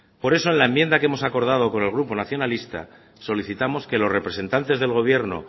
por eso en la enmienda que hemos acordado con el grupo nacionalista solicitamos que los representantes del gobierno